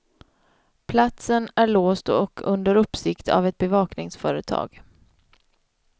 Platsen är låst och under uppsikt av ett bevakningsföretag.